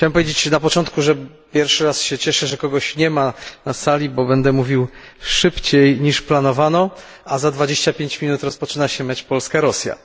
Chciałem powiedzieć na początku, że pierwszy raz się cieszę, że kogoś nie ma na sali, bo będę mówił szybciej niż planowano, a za 25 minut rozpoczyna się mecz Polska Rosja.